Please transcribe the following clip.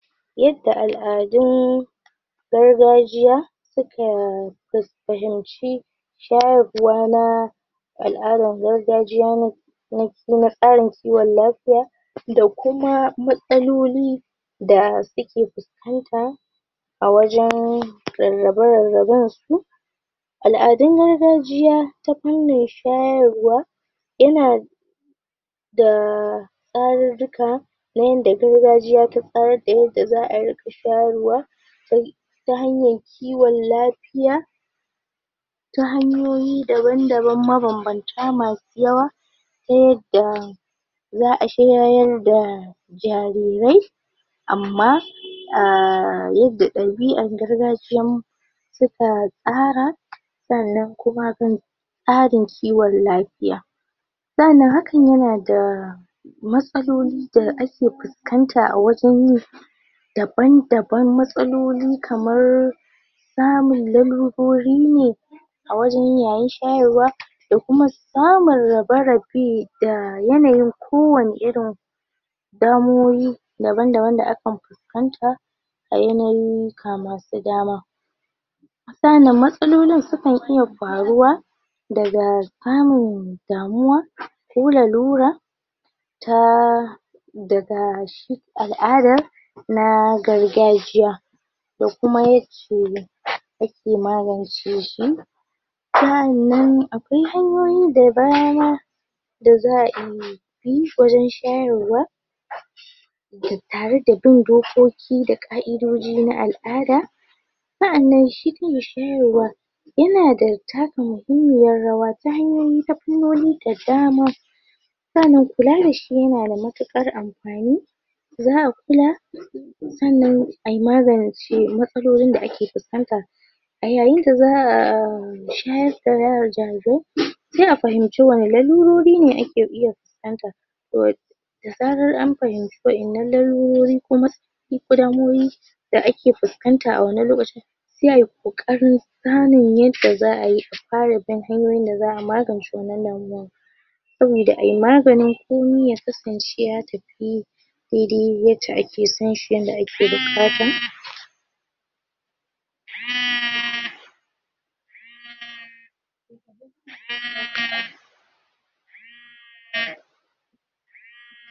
Yadda al'adun gargajiya suka fus fahimci shayarwa na al'adan gargajiya n na na tsarin kiwon lafiya da kuma matsaloli da suke fuskanta a wajen rarrabe rarraben su al'adun gargajiya ta fannin shayarwa yana da tsarirrika na yanda gargajiya ta tsarar da yadda za a riƙa shayarwa ta ta hanyar kiwon lafiya ta hanyoyi daban-daban mabambanta masu yawa ta yadda za a shayar da jarirai amma a yanda ɗabi'ar gargajiyan suka tsara sannan kuma tsarin kiwon lafiya sannan hakan yana da matsaloli da ake fuskanta a wajen yin daban-daban matsaloli kamar samun lalurori ne a wajen yayin shayarwa da kuma samur rabe-rabe da yanayin kowane irin damuwoyi daban-daban akan fuskanta a yanyiyika masu dama sa'annan matsalolin sukan iya faruwa daga samun damuwa ko lalura ta daga shi al'adar na gargajiya da kuma yake yake magance shi sa'annan akwai hanyoyi da baya ma da a iya yi shayarwa tare da bin dokoki da ƙa'idoji na al'ada sa'annan shi kan shi shayarwa yana da taka muhimmiyar rawa ta hanyoyi ta fannoni da dama dama kula da shi yana da matuƙar amfani za a kula sannan ai magance matsalolin da ake fuskanta a yayin da za a um shayar da se a fahimci wane lalurori ne ake iya fuskanta um da zarar an fahimci wa'yannan lalurori kuma ko damuwowi da ake fuskanta a wannan lokacin se ai ƙoƙarin gane yadda za ai a fara bin hanyoyin da za a magance wannan lalurar saboda ai maganin komai ya kasance ya tafi dai dai yacce ake son shi yanda ake buƙata um um um um